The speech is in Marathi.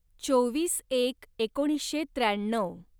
चोवीस एक एकोणीसशे त्र्याण्णव